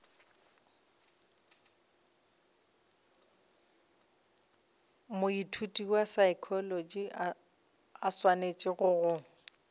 moithuti wa saekholotši a swanetšego